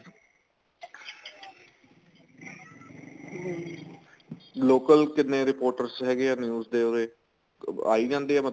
local ਕਿੰਨੇ reporters ਹੈਗੇ ਆ news ਦੇ ਉਹਦੇ ਆਈ ਜਾਂਦੇ ਏ